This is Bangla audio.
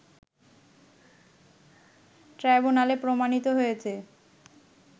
ট্রাইব্যুনালে প্রমাণিত হয়েছে